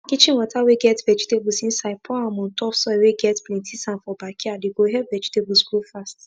kitchen water whey get vegetables insidepour am on top soil whey get plenty sand for backyard he go help vegetables grow faster